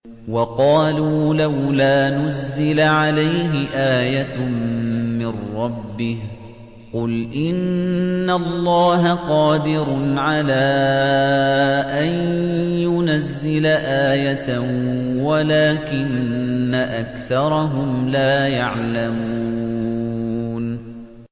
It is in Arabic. وَقَالُوا لَوْلَا نُزِّلَ عَلَيْهِ آيَةٌ مِّن رَّبِّهِ ۚ قُلْ إِنَّ اللَّهَ قَادِرٌ عَلَىٰ أَن يُنَزِّلَ آيَةً وَلَٰكِنَّ أَكْثَرَهُمْ لَا يَعْلَمُونَ